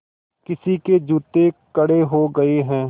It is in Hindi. किसी के जूते कड़े हो गए हैं